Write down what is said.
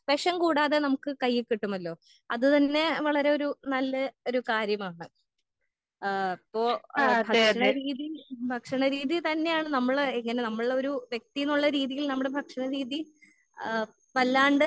വേഷം കൂടാതെ നമ്മുക്ക് കയ്യികിട്ടുമല്ലോ അത് തന്നെ വളരെ ഒരു നല്ല ഒരു കാര്യമാണ്. ഏഹ് ഇപ്പൊ എഹ് ഭക്ഷണ രീതി ഭക്ഷണ രീതി തന്നെയാണ് നമ്മൾ എങ്ങനെ നമ്മളൊരു വ്യെക്തിന്നുള്ള രീതിയിൽ നമ്മടെ ഭക്ഷണ രീതി ആ വല്ലാണ്ട്